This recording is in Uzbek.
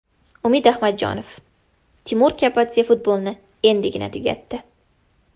Umid Ahmadjonov: Timur Kapadze futbolni endigina tugatdi.